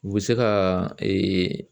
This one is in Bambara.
U bɛ se ka ee